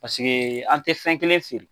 Paseke an tɛ fɛn kelen feere.